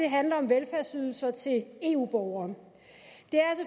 handler om velfærdsydelser til eu borgere